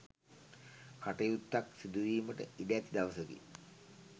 කටයුත්තක් සිදු වීමට ඉඩ ඇති දවසකි.